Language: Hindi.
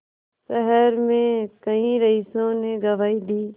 शहर में कई रईसों ने गवाही दी